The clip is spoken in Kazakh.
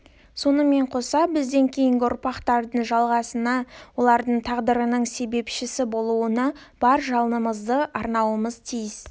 сонымен қоса бізден кейінгі ұрпақтардың жалғастығынына олардың тағдырының себепшісі болуына бар жалынымызды арнауымыз тиіс